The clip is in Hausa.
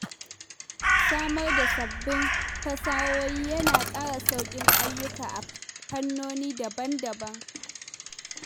Samar da sabbin fasahohi yana ƙara sauƙin ayyuka a fannoni daban-daban.